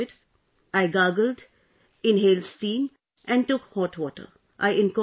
I took a lot of fluid, I gargled , inhaled steam and took hot water